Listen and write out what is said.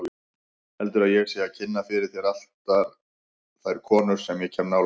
Heldurðu að ég sé að kynna fyrir þér allar þær konur sem ég kem nálægt?